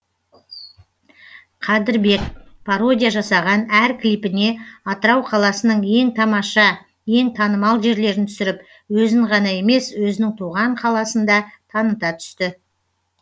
қадірбек пародия жасаған әр клипіне атырау қаласының ең тамаша ең танымал жерлерін түсіріп өзін ғана емес өзінің туған қаласын да таныта түсті